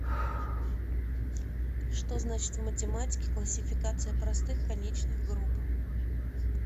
что значит в математике классификация простых конечных групп